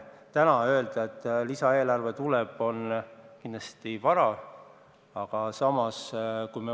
Täna öelda, et lisaeelarve tuleb, on kindlasti vara.